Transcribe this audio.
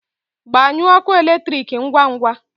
Gbanyụọ ọkụ eletrik ngwa ngwa!